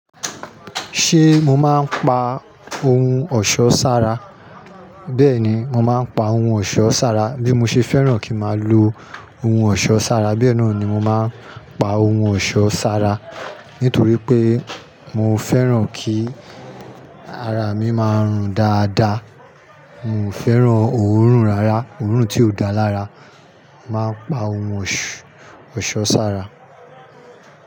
Ṣé mo máa ń pa ohun ọ̀ṣọ́ sára? Bẹ́ẹ̀ni, mo máa ń pa ohun ọ̀ṣọ́ sára. Bí mo ṣe fẹ́ràn kí máa lo ohun ọ̀ṣọ́ sára, bẹ́ẹ̀ náà ni mo máa ń pa ohun ọ̀ṣọ́ sára. Nítorí pé mo fẹ́ràn kí ara mi máa rùn dáadáa. Mio fẹ́ràn òórùn rara, òórùn tí ó da lára. Mo máa ń pa ohun ọ̀ṣọ́ sára.